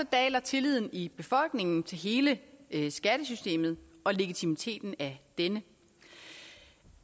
daler tilliden i befolkningen til hele hele skattesystemet og legitimiteten af denne